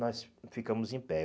Nós ficamos em pé.